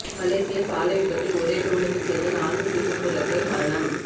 மலேசிய சாலை விபத்தில் ஒரே குடும்பத்தைச் சேர்ந்த நான்கு சிங்கப்பூரர்கள் மரணம்